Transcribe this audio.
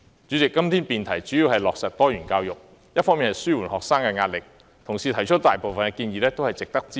主席，今天的辯題主要是落實多元教育，紓緩學生的壓力，同事提出的大部分建議都值得支持。